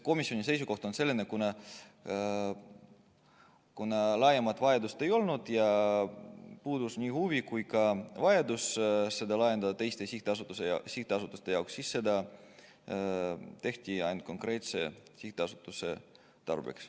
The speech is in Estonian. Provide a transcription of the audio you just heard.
Komisjoni seisukoht on selline, et kuna laiemat vajadust ei olnud ja puudus nii huvi kui ka vajadus seda teistele sihtasutustele laiendada, siis seda tehti ainult konkreetse sihtasutuse tarbeks.